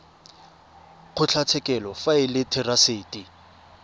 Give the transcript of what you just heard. kgotlatshekelo fa e le therasete